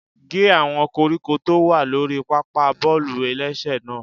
Gé àwọn koríko tó wà lórí pápá bọ́ọ̀lù-ẹlẹ́sẹ̀ náà!